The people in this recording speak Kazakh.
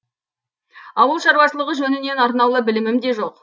ауыл шаруашылығы жөнінен арнаулы білімім де жоқ